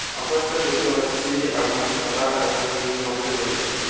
আকাশটা দেখতে পাচ্ছি এবং সাদা এবং নীল রঙের রয়েছে।